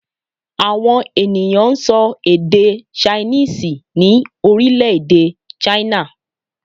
Àwọn ènìyàn n sọ èdè 'Chinese' ní Orílèdè 'China'